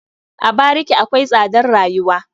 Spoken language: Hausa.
A bariki akwai tsadar rayuwa.